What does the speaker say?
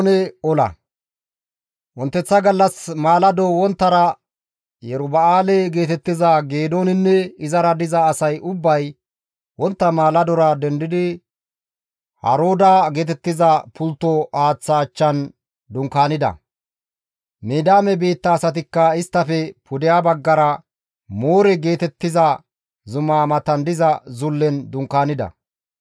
Wonteththa gallas maalado wonttara Yeruba7aale geetettiza Geedooninne izara diza asay ubbay wontta maaladora dendi biidi Harooda geetettiza pultto haaththa achchan dunkaanida. Midiyaame biitta asatikka isttafe pudeha baggara Moore geetettiza zumaa matan diza zullen dunkaanida.